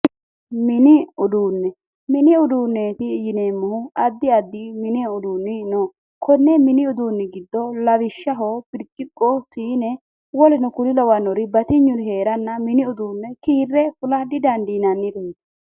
mini uduunne mini uduunne yineemmohu addi addi mini uduunni no konne mini uduunni giddo lawishshaho birciqqo siine woleno kuri lawannori batinyuri heeranna mini uduunne kiirre fula di dandiinannireeti.